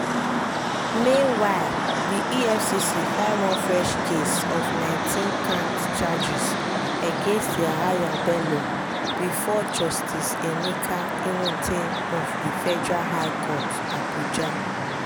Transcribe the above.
meanwhile di efcc file one fresh case of 19-count charges against yahaya bello bifor justice emeka nwite of the federal high court abuja.